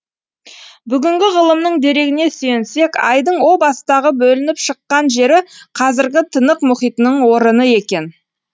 бүгінгі ғылымның дерегіне сүйенсек айдың о бастағы бөлініп шыққан жері қазіргі тынық мұхитының орыны екен